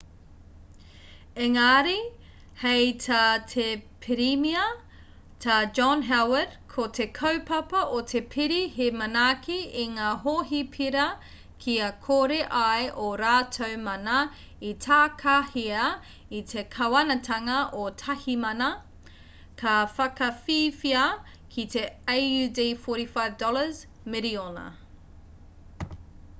engari hei tā te pirimia tā john howard ko te kaupapa o te pire he manaaki i ngā hohipera kia kore ai ō rātou mana e takahia e te kāwanatanga o tāhimana ka whakawhiwhia ki te aud$45 miriona